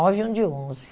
e um de onze.